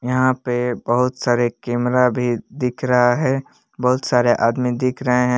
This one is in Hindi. यहां पे बहुत सारे कैमरा भी दिख रहा है बहुत सारे आदमी दिख रहे हैं।